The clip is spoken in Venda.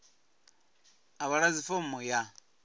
a vha ḓadzi fomo ya